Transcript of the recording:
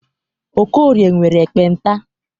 Okorie nwere ekpenta.